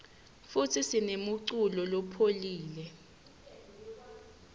futsi sinemuculo lepholile